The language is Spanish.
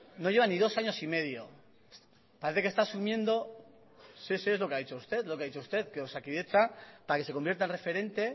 no lleva ni dos años y medio parece que está asumiendo sí sí es lo que ha dicho usted lo que ha dicho usted que osakidetza para que se convierta en referente